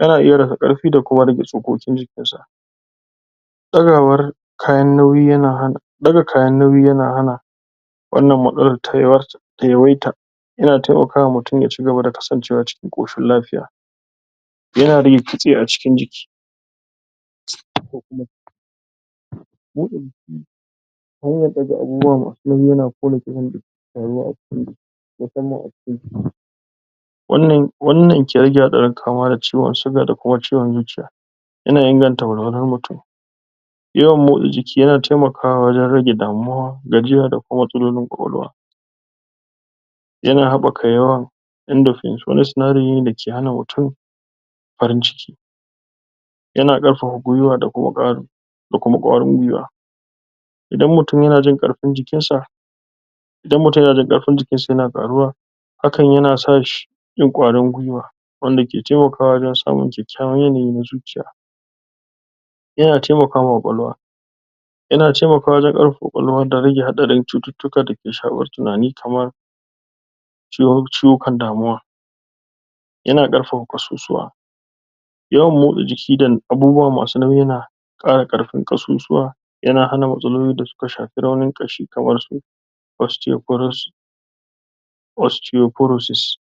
ya na iya karfi da kuma rage tsokokin jikinsa daga kayan nauyi ya na hana wannan matsalar ta yawaita yana taimaka wa mutum ya cigaba kasance wa cikin ƙoshin kafiya, ya na rage kitse a cikin jiki hanyar ɗaga abubuwa masu nauyi ya na ƙona ƙitsan jiki a cikin jiki musamman a cikin ciki wannan ke rage hatsarin kaamuwa da ciwon siga da kuma ciwon zuciya, ya na inganta walwalar mutum, yawan mota jiki ya na taimakawa wajan rage damuwa, gajiya da kuma ƙwaƙwalwa, ya na haɓɓaka yawan endorphins wani sinadari ne dake hana mutum farin ciki ya na ɗaukaka gwiwa da kuma ƙwarin gwiwa idan mutum ya na jin ƙarfin jikin sa idan mutum ya na jin ƙarfin jikin sa ya na ƙaruwa, hakan ya na sashi yayi ƙwarin gwiwa wanda ke taimakawa wajan samun ƙyakyawan yanayi na zuciya. Ya na taimakawa ƙwaƙwalwa, ya na taimakawa wajan karfafa ƙwawalwa dan rage hatsarin chututtuka dake tunani kamar chiwukan damuwa, ya na ƙarfafa ƙasusuwa. Yawan motsa jiki da abubuwa masu nauyi ya na ƙara ƙarfin ƙasusuwa ya na hana matsaloli da su ka shafi raunin ƙashi kamar su osteoporosis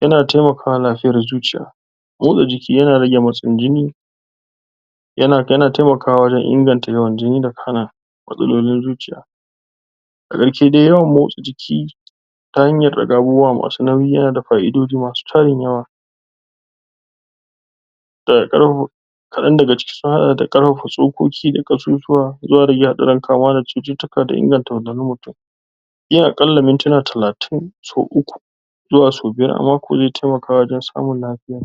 ya na taimakawa lafiyar zuciya, motsa jiki ya na rage motsin jini, ya na taimakawa wajan inganta yawan jini da hana matsalolin zuciya a gaske dai yawan motsa jiki ta hanyar ɗaga abubuwa masu nauyi ya na fa'idoji masu tarin yawa kaɗan daga ciki sun haɗa da ƙarfafa tsokoki da ƙasusuwa kaama da cututtuka da inganta mutum yin harƙalla mintuna talatin sau uku zuwa sau biyar a ze taimaka wajan samun lafiya.